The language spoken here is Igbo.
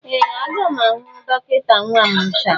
Ee! Aga m ahụ dọkịta nwa m taa.